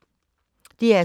DR2